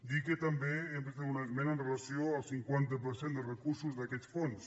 dir que també hem de fer una esmena amb relació al cinquanta per cent de recursos d’aquests fons